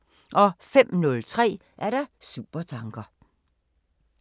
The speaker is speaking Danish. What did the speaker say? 05:03: Supertanker